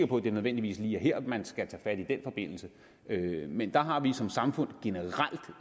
på at det nødvendigvis lige er her man skal tage fat i den forbindelse men der har vi som samfund generelt